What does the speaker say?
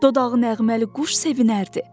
Dodağı nəğməli quş sevinərdi.